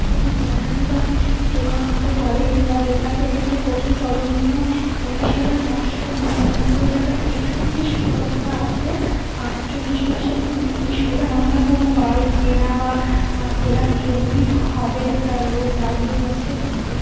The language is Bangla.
কোনো লটারি বা কিছুর দোকান হতে পারে এইটা লেখা আছে এখানে প্রথম সর্বনিম্ন উনিশ হাজার নশো নিরানব্বই টাকার এক্সচেঞ্জ -এর সুব্যবস্থা আছে আটচল্লিশ মাসের কিস্তির সুবিধা আমার মনে হয়ে কোনো বাইক কেনা বা কেনার জন্যই হবে । একটা লোক দাঁড়িয়েও আছে বাইরে।